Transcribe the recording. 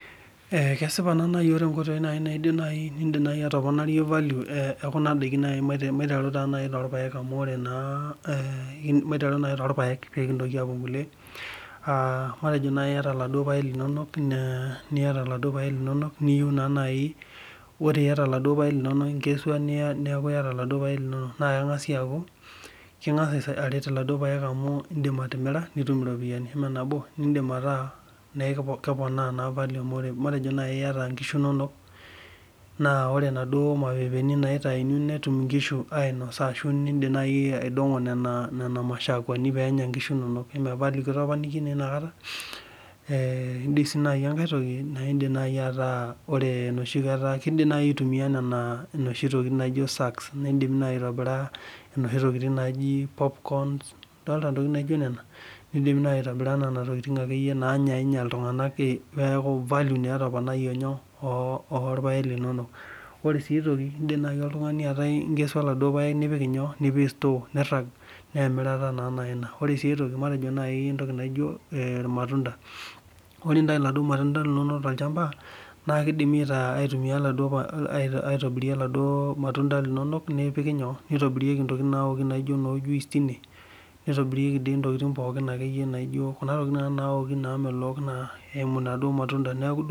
Ee kesipa nai ore nkoitoi nidim atoponayie value maiteru nai torpaek pekintoki apuo nkulie matejo iata laduo paek linonok ore piata neaku matejo inkesua neakubiata laduo paek linonok na ekingasa aret amu indim atimira nitum iropiyani matejo nai iata nkishu inonok ore naduo naitauni netum nkishu ainosa ashu indik nai aidongo kuna mashakuani penya nkishu inonok ore nai enoshikata kidim nai aitumia noshi tokitin naji sucks nakidim nai aitumia noshi tokitin naijo popcorns idolta naa nona indim aitua nona tokitin nanya ltunganak neaku value etoponayie tine orpaek linono ore sia aitoki indim nai nikesu kulo paek linonok nipik store na emirare ina matejo nai entoki naino Irmatunda ,ore pintau laduo matunda na kidim nitaunyeki kuna tokitin namelok oladuo matunda neaku duo